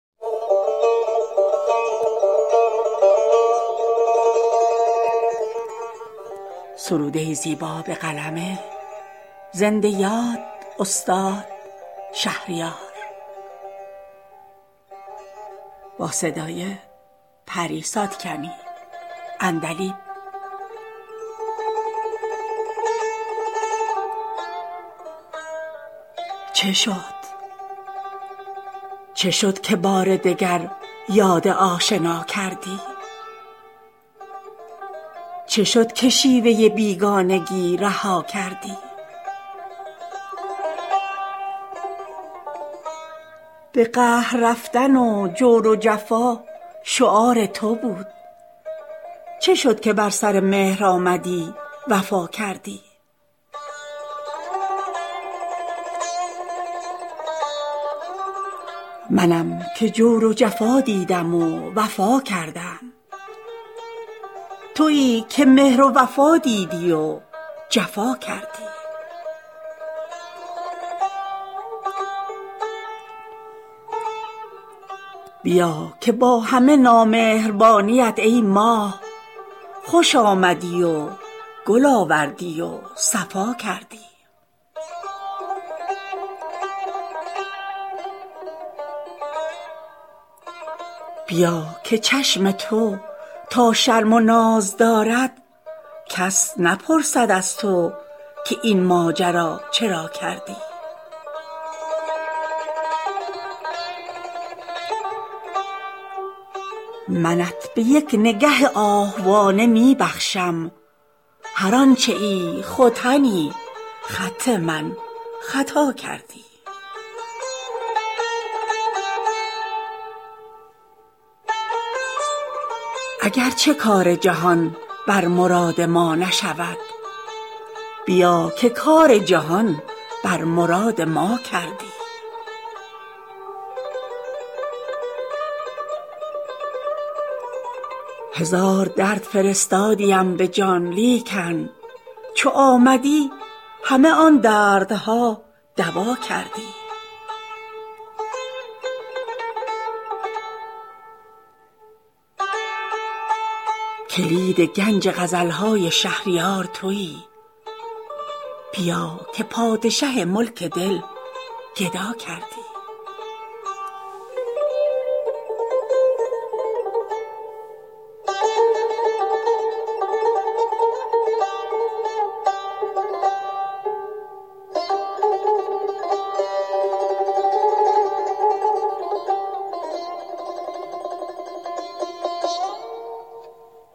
چه شد که بار دگر یاد آشنا کردی چه شد که شیوه بیگانگی رها کردی به قهر رفتن و جور و جفا شعار تو بود چه شد که بر سر مهر آمدی وفا کردی منم که جور و جفا دیدم و وفا کردم تویی که مهر و وفا دیدی و جفا کردی بیا که با همه نامهربانیت ای ماه خوش آمدی و گل آوردی و صفا کردی بیا که چشم تو تا شرم و ناز دارد کس نپرسد از تو که این ماجرا چرا کردی زکات قامت چون سرو ناز و زلف دوتا بیا که پشت من از بار غم دوتا کردی منت به یک نگه آهوانه می بخشم هر آنچه ای ختنی خط من خطا کردی اگر چه کار جهان بر مراد ما نشود بیا که کار جهان بر مراد ما کردی هزار درد فرستادیم به جان لیکن چو آمدی همه آن دردها دوا کردی کلید گنج غزل های شهریار تویی بیا که پادشه ملک دل گدا کردی